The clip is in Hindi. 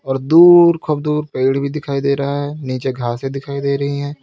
दूर खूब दूर पेड़ भी दिखाई दे रहा है नीचे घास भी दिखाई दे रही हैं।